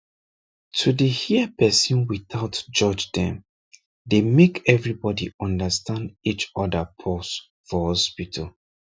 to dey hear person without judge dem dey make everybody understand each other pause for hospital